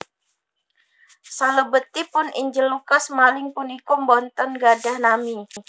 Salebetipun Injil Lukas maling puniku boten gadhah nami